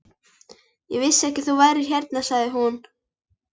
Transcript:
Ég vissi ekki að þú værir hérna sagði hún.